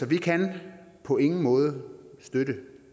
vi kan på ingen måde støtte